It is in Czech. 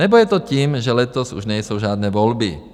Nebo je to tím, že letos už nejsou žádné volby?